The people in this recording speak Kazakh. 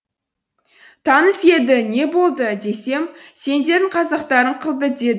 таныс еді не болды десем сендердің қазақтарың қылды деді